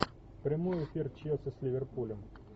прямой эфир челси с ливерпулем